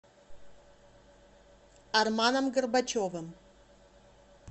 арманом горбачевым